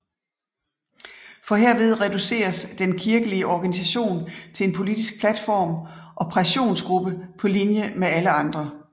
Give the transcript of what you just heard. For herved reduceres den kirkelige organisation til en politisk platform og pressionsgruppe på linje med alle andre